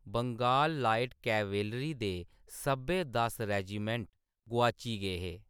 Bengal light cavalry दे सब्भै दस रेजिमेंट गोआची गे हे।